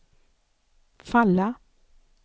falla